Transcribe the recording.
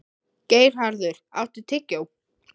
Geirharður, áttu tyggjó?